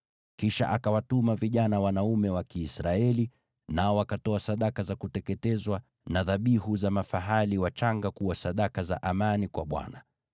Kisha akawatuma vijana wanaume wa Kiisraeli, nao wakatoa sadaka za kuteketezwa na dhabihu za mafahali wachanga kuwa sadaka za amani kwa Bwana .